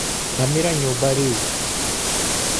Thamĩra nyumba rĩu.